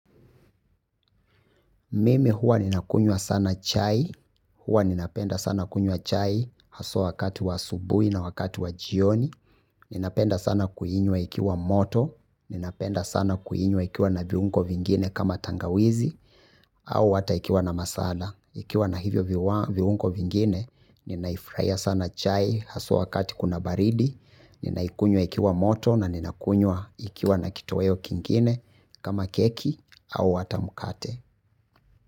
Mimi huwa ninakunywa sana chai, huwa ninapenda sana kunywa chai haswa wakati wa asubui na wakati wa jioni, ninapenda sana kuinywa ikiwa moto, ninapenda sana kuinywa ikiwa na viungo vingine kama tangawizi, au ata ikiwa na masala. Ikiwa na hivyo viungo vingine, ninaifraia sana chai haswa wakati kuna baridi, ninakunywa ikiwa moto na ninakunywa ikiwa na kitoweo kingine kama keki au ata mkate.